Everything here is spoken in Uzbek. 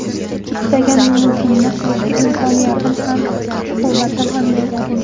Istagan yumushimni qilishga imkoniyatim ham, kuch-quvvatim ham yetarli.